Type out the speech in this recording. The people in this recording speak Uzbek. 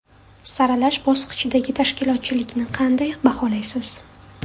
Saralash bosqichidagi tashkilotchilikni qanday baholaysiz.